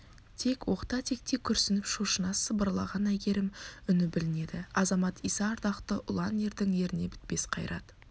тек оқта-текте күрсініп шошына сыбырлаған әйгерім үні білінеді азамат иса ардақты ұлан ердің еріне бітпес қайрат